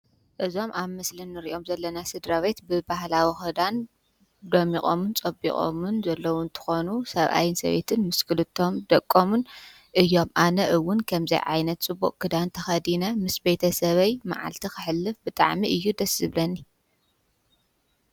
እዞም አብ ምስሊ እንሪኦም ዘለና ስድራ ቤት ብባህላዊ ኽዳን ደሚቆምን ፀቢቆምን ዘለዉ እንትኮኑ ሰብአይን ሰበይቲን ምስ ኽልተ ደቆምን እዮም። አነ እውን ከምዚ ዓይነት ፅቡቅ ክዳን ተኸዲነ ምስ ቤተ ሰበይ መዓልቲ ከሕልፍ ብጣዕሚ እዩ ደስ ዝብለኒ።